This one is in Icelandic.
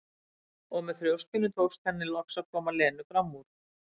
Og með þrjóskunni tókst henni loks að koma Lenu fram úr.